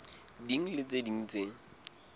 ding le tse ding tse